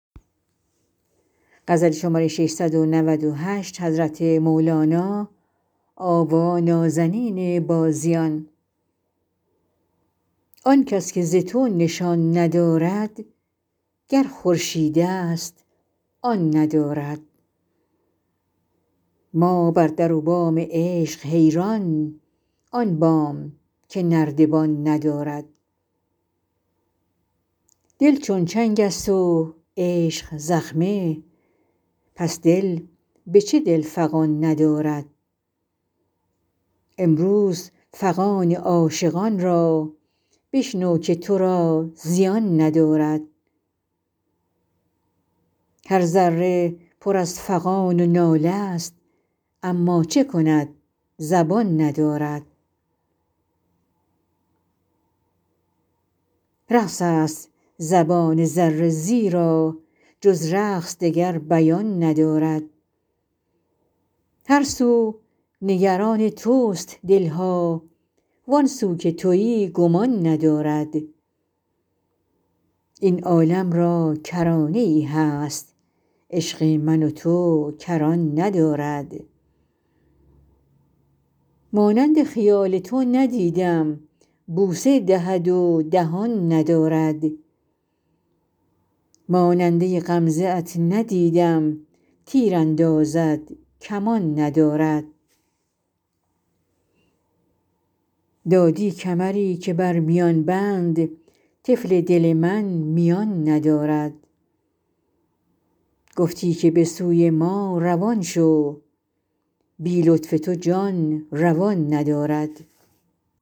آن کس که ز تو نشان ندارد گر خورشیدست آن ندارد ما بر در و بام عشق حیران آن بام که نردبان ندارد دل چون چنگست و عشق زخمه پس دل به چه دل فغان ندارد امروز فغان عاشقان را بشنو که تو را زیان ندارد هر ذره پر از فغان و ناله ست اما چه کند زبان ندارد رقص است زبان ذره زیرا جز رقص دگر بیان ندارد هر سو نگران تست دل ها وان سو که توی گمان ندارد این عالم را کرانه ای هست عشق من و تو کران ندارد مانند خیال تو ندیدم بوسه دهد و دهان ندارد ماننده غمزه ات ندیدم تیر اندازد کمان ندارد دادی کمری که بر میان بند طفل دل من میان ندارد گفتی که به سوی ما روان شو بی لطف تو جان روان ندارد